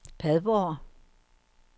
Padborg